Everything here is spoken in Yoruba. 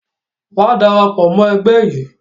Wa darapọ̀ mọ ẹgbẹ́ yìí!